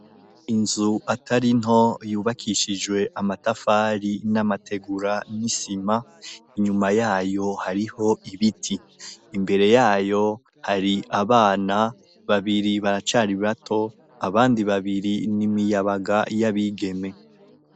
Inzu atarinto yubakishijwe amatafari n'amategura n'isima inyuma yayo hariho ibiti imbere yayo hari abana babiri, baracari bato abandi babiri n'imiyabaga yabigeme.